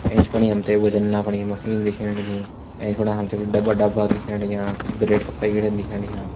ऐंच फणि हम तैं वजन नापणे मशीन दिखेण लगीं ऐंच फणा कुछ डब्बा डाब्बान दिखेण लग्यां कुछ ब्रेड का पैकेट दिखेण लग्यां।